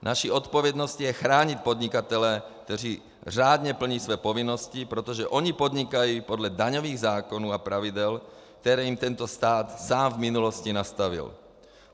Naší odpovědností je chránit podnikatele, kteří řádně plní své povinnosti, protože oni podnikají podle daňových zákonů a pravidel, které jim tento stát sám v minulosti nastavil.